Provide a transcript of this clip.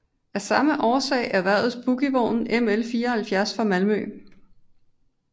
Af samme årsag erhvervedes bogievognen ML 74 fra Malmö